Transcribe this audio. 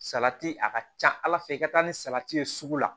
Salati a ka ca ala fɛ i ka taa ni salati ye sugu la